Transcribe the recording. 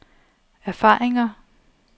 erfaringer